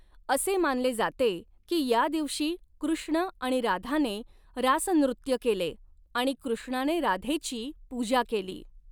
असे मानले जाते की या दिवशी कृष्ण आणि राधाने रास नृत्य केले आणि कृष्णाने राधेची पूजा केली.